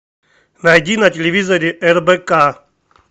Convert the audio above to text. найди на телевизоре рбк